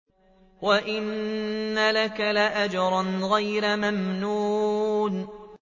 وَإِنَّ لَكَ لَأَجْرًا غَيْرَ مَمْنُونٍ